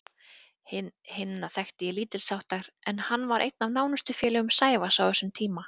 Hinna þekkti ég lítilsháttar en hann var einn af nánustu félögum Sævars á þessum tíma.